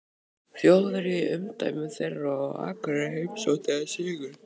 Þjóðverja í umdæmum þeirra, og á Akureyri heimsótti hann Sigurð